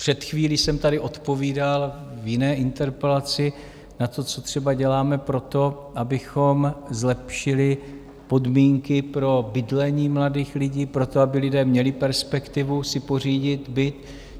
Před chvílí jsem tady odpovídal v jiné interpelaci na to, co třeba děláme pro to, abychom zlepšili podmínky pro bydlení mladých lidí, pro to, aby lidé měli perspektivu si pořídit byt.